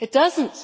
It doesn't.